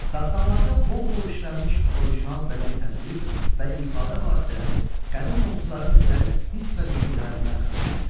Dastanlarda bol-bol işlənmiş original bədi təsvir və ifadə vasitələri qədim oğuzların zərif hiss və düşüncələrindən xəbər verir.